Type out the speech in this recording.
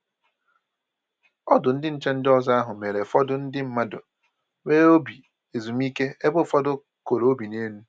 Ọdụ ndị nche ndị ọzọ ahụ mere ụfọdụ ndị mmadụ nwee obi ezumike ebe ụfọdụ koro obi n'elu